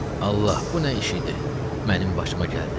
Allah, bu nə iş idi mənim başıma gəldi?